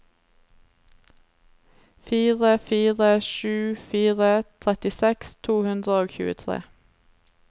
fire fire sju fire trettiseks to hundre og tjuetre